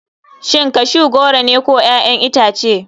Shin cashew goro ne ko 'ya'yan itace.